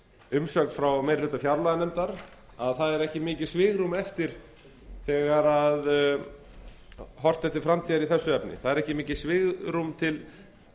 umsögn frá meiri hluta fjárlaganefndar að það er ekki mikið svigrúm eftir þegar horft er til framtíðar í þessu efni það er ekki mikið svigrúm til